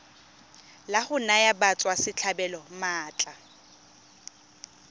la go naya batswasetlhabelo maatla